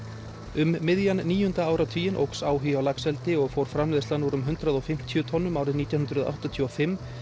um miðjan níunda áratuginn óx áhugi á laxeldi og fór framleiðslan úr um hundrað og fimmtíu tonnum árið nítján hundruð áttatíu og fimm